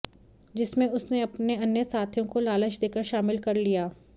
जिसमें उसने अपने अन्य साथियों को लालच देकर शामिल कर लिया